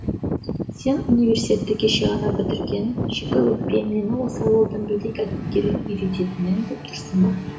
сен университетті кеше ғана бітірген шикіөкпе мені осы ауылдың білдей кәсіпкерін үйрететінің деп тұрсың ба